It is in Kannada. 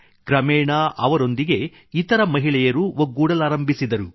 ಕ್ರಮೇಣ ಅವರೊಂದಿಗೆ ಇತರ ಮಹಿಳೆಯರು ಒಗ್ಗೂಡಲಾರಂಭಿಸಿದರು